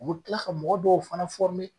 U be tila ka mɔgɔ dɔw fana